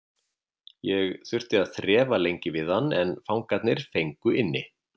Ég þurfti að þrefa lengi við hann en fangarnir fengu inni.